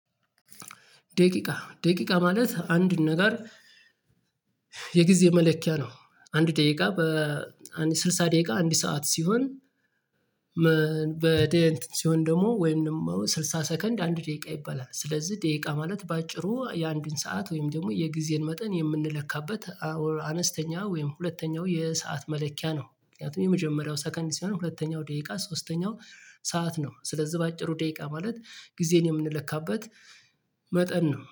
ደቂቃ ደቂቃ ማለት አንድ ነገር የጊዜ መለኪያ ነው አንድ ደቂቃ በ ስልሳ ደቂቃ አንድ ሰዓት ሲሆን። በደንብ ሲሆን ደግሞ ወይም ደግሞ ስልሳ ሰከንድ አንድ ደቂቃ ይባላል ስለዚህ ደቂቃ ማለት በአጭሩ የአንድን ሰዓት ወይም ደግሞ የጊዜን መጠን የምንለካበት አነስተኛ ወይም ሁለተኛው የሰዓት መለኪያ ነው። ምክንያቱም የመጀመሪያው ሰከንድ ሲሆን ሁለተኛው ደቂቃ ሶስተኛው ሰዓት ነው። ስለዚህ በአጭሩ ደቂቃ ማለት ጊዜን የምንለካበት መጠን ነው